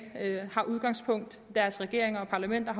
har udgangspunkt i deres regeringer og parlamenter